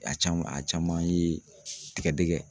A caman a caman ye tigɛdɛgɛ